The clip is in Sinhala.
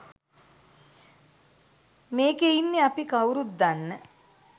මේකෙ ඉන්නෙ අපි කවුරුත් දන්න